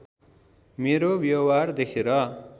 मेरो व्यवहार देखेर